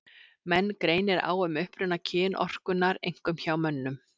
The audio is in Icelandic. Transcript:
Menn greinir á um uppruna kynorkunnar, einkum hjá mönnum.